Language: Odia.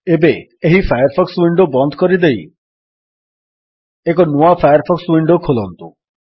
ଏବେ ଏହି ଫାୟାରଫକ୍ସ ୱିଣ୍ଡୋ ବନ୍ଦ କରିଦେଇ ଏକ ନୂଆ ଫାୟାରଫକ୍ସ ୱିଣ୍ଡୋ ଖୋଲନ୍ତୁ